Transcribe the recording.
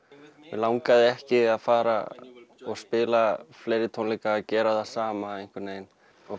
mig langaði ekki að fara og spila fleiri tónleika og gera það sama einhvern veginn